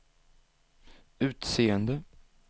utseende